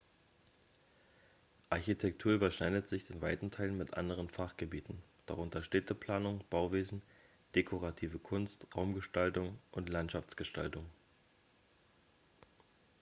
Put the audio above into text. architektur überschneidet sich in weiten teilen mit anderen fachgebieten darunter städteplanung bauwesen dekorative kunst raumgestaltung und landschaftsgestaltung